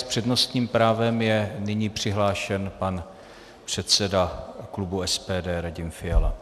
S přednostním právem je nyní přihlášen pan předseda klubu SPD Radim Fiala.